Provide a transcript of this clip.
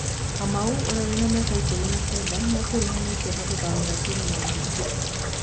Kamau ũria wĩna mĩaka ikũmi na kenda nĩakuruhanĩtio na gũthamĩra timũ ya Naikuru.